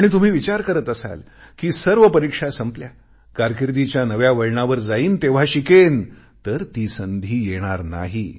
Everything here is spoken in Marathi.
आणि तुम्ही विचार करत असाल कि सर्व परीक्षा संपल्या कारकीर्दीच्या नव्या वळणावर जाईन तेव्हा शिकेन तर ती संधी तर येणार नाही